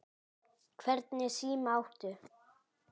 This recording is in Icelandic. Hvernig síma áttu?